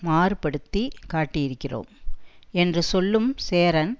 மாறுபடுத்தி காட்டியிருக்கிறோம் என்று சொல்லும் சேரன்